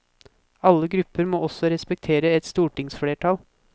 Alle grupper må også respektere et stortingsflertall.